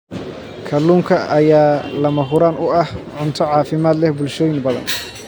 Kalluunka ayaa lama huraan u ah cunto caafimaad leh bulshooyin badan.